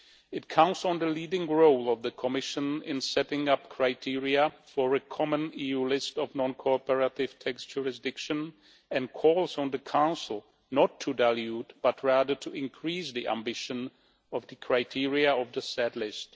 It counts on the leading role of the Commission in setting up criteria for a common EU list of non-cooperative tax jurisdictions, and calls on the Council not to dilute, but rather to increase, the ambition of the criteria of the said list.